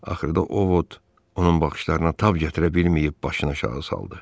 Axırda o vot onun baxışlarına tab gətirə bilməyib başını aşağı saldı.